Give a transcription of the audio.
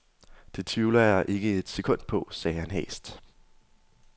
Det tvivler jeg ikke et sekund på, sagde han hæst.